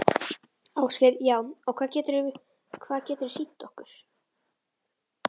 Ásgeir: Já, og hvað geturðu, hvað geturðu sýnt okkur?